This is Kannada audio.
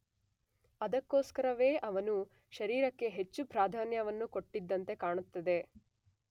ಅದಕ್ಕೋಸ್ಕರವೇ ಅವನು ಶಾರೀರಕ್ಕೆ ಹೆಚ್ಚು ಪ್ರಾಧಾನ್ಯವನ್ನು ಕೊಟ್ಟಿದ್ದಂತೆ ಕಾಣುತ್ತದೆ.